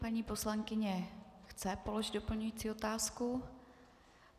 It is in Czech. Paní poslankyně chce položit doplňující otázku.